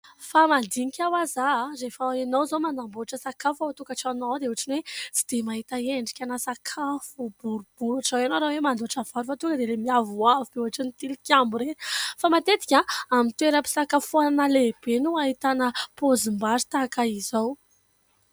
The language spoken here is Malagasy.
Fa mandinka ho'aho aho : rehefa ianao izao manamboatra sakafo ao antokatranonao ao dia ohatran'ny hoe tsy dia mahita endrika sakafo boribory ohatr'izo ianao raha hoe mandoatra vary fa tonga diailay mihavoavo be ohatran'ny tilikambo ireny fa matetika amin'ny toera-pisakafoanana lehibe no hahitana paozimbary tahaka izao.